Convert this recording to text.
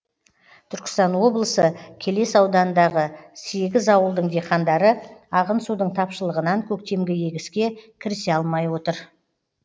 түркістан облысы келес ауданындағы сегіз ауылдың диқандары ағын судың тапшылығынан көктемгі егіске кірісе алмай отыр